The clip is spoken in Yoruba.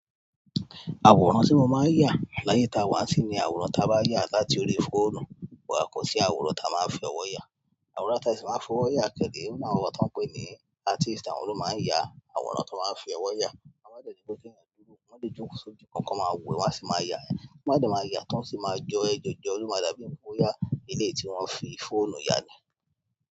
Àwòrán tí mo máa ń yà láyé ta wá sì ni àwòrán ta bá yà láti orí fóònù wà kọ sí àwòrán ta máa ń fi ọwọ́ yà. Àwòrán ta sì máa ń fi ọwọ́ yà kẹ́dẹ̀re, ó na àwòrán tán pè ni artist àwọn ló máa ń yà, àwòrán tó máa ń fi ọwọ́ yà. A máa dẹ̀ ni pẹ́ kí ẹ̀ dúró, wọn a dẹ̀ joko sójú kan, kan máa wò e, won á sì máa yà ẹ́. Wọn máa dẹ̀ máa yà án tó sì máa jọ ẹ, jọjọ, o dàbí pe o yá ilé tí wọ́n fi fóònù ya ni.